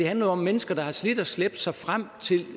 handler jo om mennesker der har slidt og slæbt sig frem til